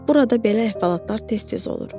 Burada belə əhvalatlar tez-tez olur.